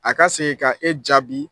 A ka segin ka e jaabi